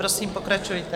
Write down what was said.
Prosím, pokračujte.